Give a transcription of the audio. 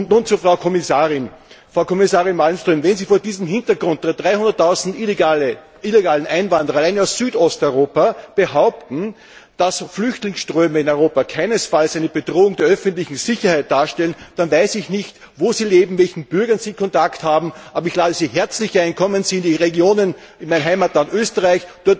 Nun zur Frau Kommissarin Frau Kommissarin Malmström, wenn Sie vor diesem Hintergrund 300000 illegale Einwanderer allein aus Südosteuropa behaupten, dass Flüchtlingsströme in Europa keinesfalls eine Bedrohung der öffentlichen Sicherheit darstellen, dann weiß ich nicht, wo Sie leben und mit welchen Bürgern Sie Kontakt haben. Aber ich lade Sie herzlich ein Kommen Sie in die Regionen, in mein Heimatland Österreich.